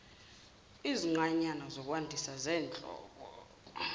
izinqanyana zokwandisa zenhlobo